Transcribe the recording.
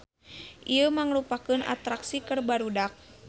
Ieu mangrupakeun atraksi keur barudak.